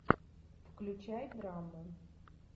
включай драму